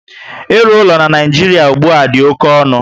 Ịlụ ụlọ na Naijiria ugbua dị oké ọnụ